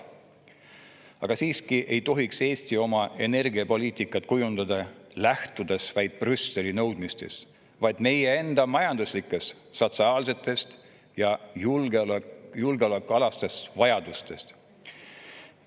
Aga siiski ei tohiks Eesti oma energiapoliitikat kujundada, lähtudes vaid Brüsseli nõudmistest, vaid enda majanduslikest, sotsiaalsetest ja julgeolekualastest vajadustest.